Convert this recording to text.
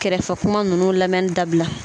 Kɛrɛfɛ kuma ninnu lamɛnni dabila